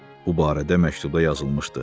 Bu barədə məktubda yazılmışdı.